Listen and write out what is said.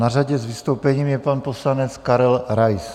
Na řadě s vystoupením je pan poslanec Karel Rais.